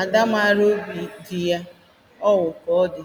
ada maara obi di ya ọ wụ ka ọ dị